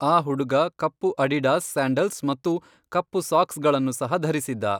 ಆ ಹುಡುಗ ಕಪ್ಪು ಅಡಿಡಾಸ್ ಸ್ಯಾಂಡಲ್ಸ್ ಮತ್ತು ಕಪ್ಪು ಸಾಕ್ಸ್ಗಳನ್ನು ಸಹ ಧರಿಸಿದ್ದ.